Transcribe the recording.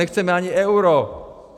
Nechceme ani euro.